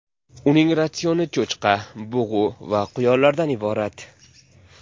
Uning ratsioni cho‘chqa, bug‘u va quyonlardan iborat.